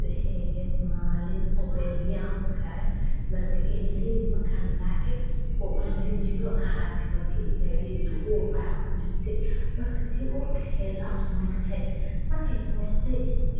waxey ehed malin an badiyo u kece, marka idhaleyda markan race oo duur an lajiro ayan arke idhaleyda tuu uur eh aya kijirte marka tii urka ehed baa folate